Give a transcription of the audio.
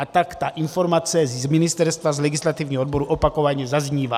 A tak ta informace z ministerstva, z legislativního odboru, opakovaně zaznívá.